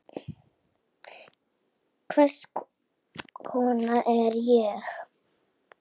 Hvers konar hugmynd er ég?